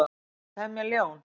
Er hægt að temja ljón?